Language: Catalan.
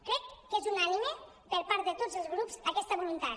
crec que és unànime per part de tots els grups aquesta voluntat